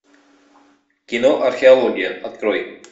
кино археология открой